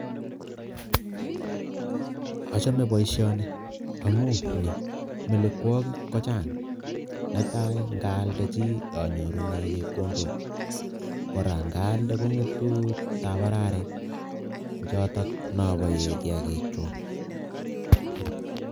Achame boisioni amu ni, melekwokik ko chang, netai ngaaldechi anyorune chepkondok, kora ngaalde kongetu tabararik ko chotok noboe kiagikchuk.